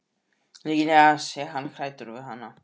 Líklega sé hann hræddur við hana.